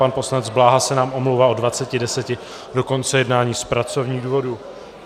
Pan poslanec Bláha se nám omlouvá od 20.10 do konce jednání z pracovních důvodů.